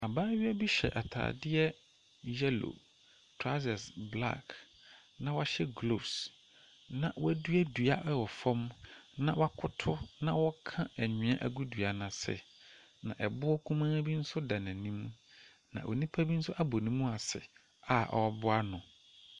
Abaayewa bi hyɛ ataadeɛ yellow. Trawsas blaɔk. Na wahyɛ gloves. Na wadua dua wɔ fam. Na wakoto anhwea agu dua no ase. Na boɔ kumaa bi nso da n'anim. Na onipa bi nso abɔ ne mu ase a ɔreboa no.